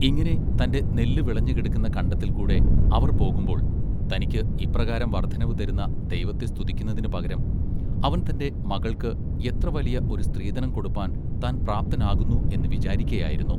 ഇങ്ങിനെ തന്റെ നെല്ല് വിളഞ്ഞുകിടക്കുന്ന കണ്ടത്തിൽ കൂടെ അവർ പോകുമ്പോൾ തനിക്ക് ഇപ്രകാരം വർദ്ധനവ് തരുന്ന ദൈവത്തെ സ്തുതിക്കുന്നതിന് പകരം അവൻ തന്റെ മകൾക്ക് എത്ര വലിയ ഒരു സ്ത്രീധനം കൊടുപ്പാൻ പ്രാപ്തനാകുന്നു എന്ന് വിചാരിക്കയായിരുന്നു.